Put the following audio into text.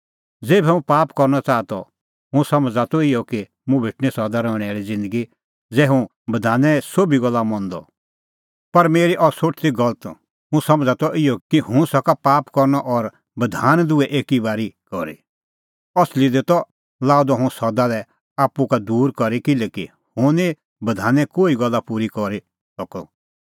ज़ेभै हुंह पाप करनअ च़ाहा त हुंह समझ़ा त इहअ कि मुंह भेटणीं सदा रहणैं आल़ी ज़िन्दगी ज़ै हुंह बधाने सोभी गल्ला मंदअ पर मेरी अह सोठ ती गलत हुंह समझ़ा त इहअ कि हुंह सका पाप करनअ और बधान दुहै एकी बारी करी असली दी त लाअ द हुंह सदा लै आप्पू का दूर करी किल्हैकि हुंह निं बधाने कोही गल्ला पूरी करी सकअ